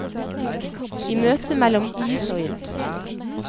I møtet mellom is og ild.